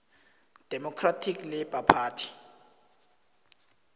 democratic labour party